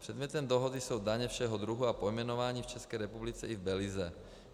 Předmětem dohody jsou daně všeho druhu a pojmenování v České republice i v Belize.